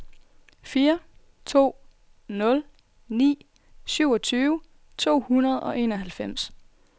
fire to nul ni syvogtyve to hundrede og enoghalvfems